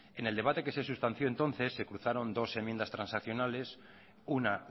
en el debate que se sustanció entonces se cruzaron dos enmiendas transaccionales una